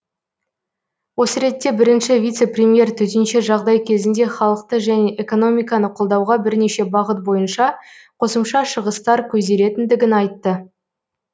осы ретте бірінші вице премьер төтенше жағдай кезінде халықты және экономиканы қолдауға бірнеше бағыт бойынша қосымша шығыстар көзделетіндігін айтты